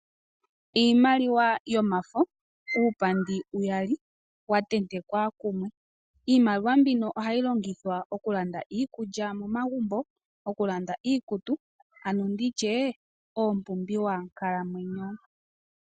Iimaliwa yomafo, uupandi uyali wa tentekwa kumwe. Iimaliwa mbino ohayi londithwa okulanda iikulya momagumbo, okulanda iikutu ano nditye iipumbiwa nkalamwenyo.